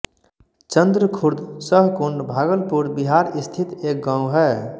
चंद्रखुर्द सहकुंड भागलपुर बिहार स्थित एक गाँव है